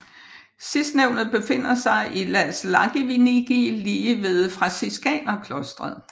Sidstnævnte befinder sig i Las Łagiewnicki lige ved Franciskanerklostret